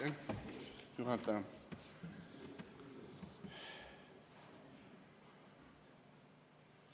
Aitäh, juhataja!